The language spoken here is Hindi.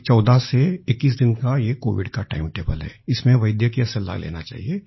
एक 14 से 21 दिन का ये कोविड का टाइम टेबल है इसमें वैद्य डॉक्टर की सलाह लेना चाहिये